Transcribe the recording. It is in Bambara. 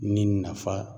Ni nafa